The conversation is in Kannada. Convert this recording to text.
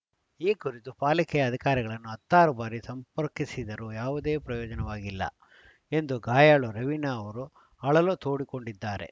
ಈ ಕುರಿತು ಪಾಲಿಕೆಯ ಅಧಿಕಾರಿಗಳನ್ನು ಹತ್ತಾರು ಬಾರಿ ಸಂಪರ್ಕಿಸಿದರೂ ಯಾವುದೇ ಪ್ರಯೋಜನವಾಗಿಲ್ಲ ಎಂದು ಗಾಯಾಳು ರವೀನಾ ಅವರು ಅಳಲು ತೋಡಿಕೊಂಡಿದ್ದಾರೆ